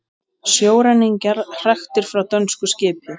Sjóræningjar hraktir frá dönsku skipi